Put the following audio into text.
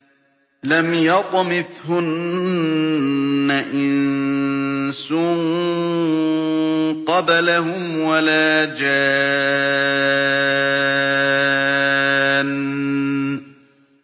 لَمْ يَطْمِثْهُنَّ إِنسٌ قَبْلَهُمْ وَلَا جَانٌّ